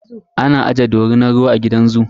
Ana aje dorinar ruwa a gidan zoo.